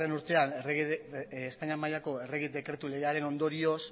urtean espainian mailako errege dekretu deiaren ondorioz